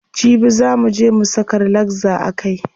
Jibi zaa muje mu saka relaxer a kai.